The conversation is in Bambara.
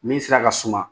Min sira ka suma